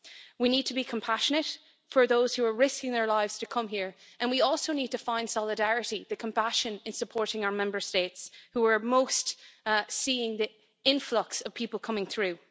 We need to be compassionate to those who are risking their lives to come here, and we also need to find solidarity the compassion in supporting our Member States who are most seeing the influx of people coming through.